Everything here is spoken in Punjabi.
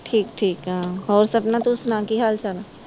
ਠੀਕ ਠੀਕ ਆ ਹੋਰ ਸਪਨਾ ਤੂੰ ਸੁਣਾ ਕੀ ਹਾਲ ਚਾਲ ਆ